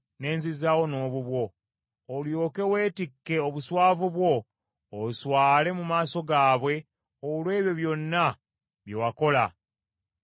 olyoke weetikke obuswavu bwo, oswale mu maaso gaabwe olw’ebyo byonna bye wakola ng’obawooyawooya.